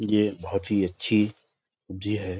ये बहुत ही अच्छी है।